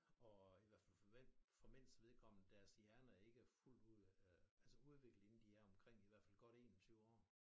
Og i hvert fald for vend for mænds vedkommende deres hjerner er ikke fuldt ud øh altså udviklet inden de er omkring altså godt 21 år